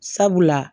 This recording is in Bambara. Sabula